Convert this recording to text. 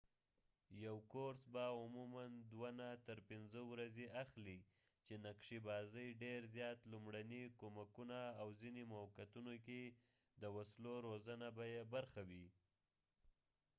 یو کورس به عموماً 2-5 ورځې اخلي چې نقشي بازۍ ډېر زیات لومړني کمکونه او ځنه موقعو کې د وسلو روزنه به يې برخه وي